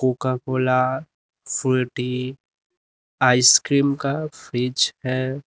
Coca Cola Frooti ice cream का fridge है।